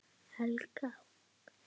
Helga: Hvernig?